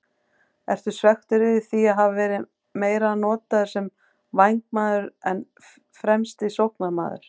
Ertu svekktur yfir því að hafa verið meira notaður sem vængmaður en fremsti sóknarmaður?